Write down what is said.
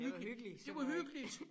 Det har været hyggeligt så øh